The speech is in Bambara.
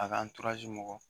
A ka mɔgɔw